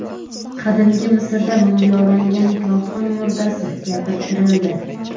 Qadimgi Misrda mumiyolangan kohin murdasi gapirtirildi .